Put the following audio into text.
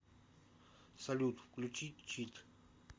салют включи чит